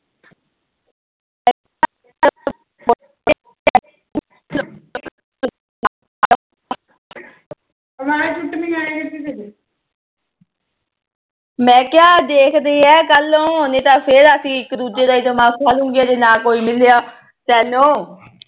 ਮੈ ਕਿਹਾ ਦੇਖਦੇ ਆ ਕੱਲ ਨੂੰ ਨਹੀ ਤਾ ਫਿਰ ਅਸੀ ਇੱਕ ਦੂਜੇ ਦਾ ਦਿਮਾਗ ਖਾਲਾਗੇ ਜੇ ਨਾ ਕੋਈ ਮਿਲਿਆ ਤੈਨੋ